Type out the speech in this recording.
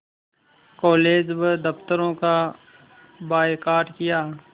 college व दफ़्तरों का बायकॉट किया